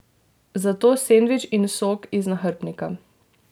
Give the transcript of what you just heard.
Zato sendvič in sok iz nahrbtnika.